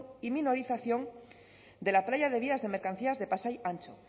y minorización de la playa de vías de mercancías de pasai antxo